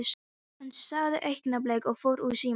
Hann sagði augnablik og fór úr símanum.